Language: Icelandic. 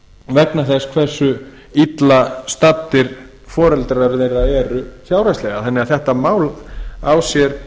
vegna þess hversu illa staddir foreldrar þeirra eru fjárhagslega þannig að þetta mál á sér